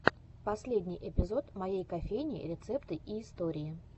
последний эпизод моей кофейни рецепты и истории